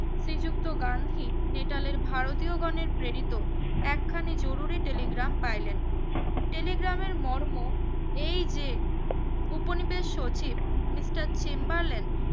শ্রী যুক্ত গান্ধী নেটালের ভারতীয় গনের প্রেরিত এক খানি জরুলি telegram পাইলেন telegram এর মর্ম এই যে উপনিবেশ সচিব MR চেম্বারলেন্ড